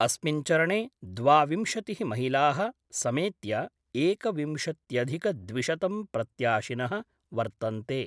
अस्मिन् चरणे द्वाविंशतिः महिला: समेत्य एकविंशत्यधिकद्विशतं प्रत्याशिन: वर्तन्ते।